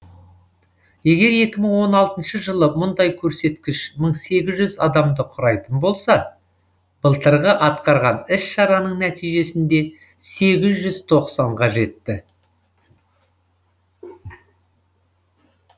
егер екі мың он алтыншы жылы мұндай көрсеткіш мың сегіз жүз адамды құрайтын болса былтырғы атқарған іс шараның нәтижесінде сегіз жүз тоқсанға жетті